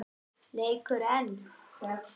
Leikur einn.